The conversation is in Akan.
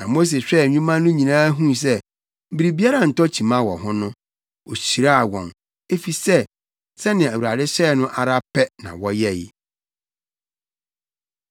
Na Mose hwɛɛ nnwuma no nyinaa huu sɛ biribiara ntɔ kyima wɔ ho no, ohyiraa wɔn, efisɛ sɛnea Awurade hyɛe no ara pɛ na wɔyɛe.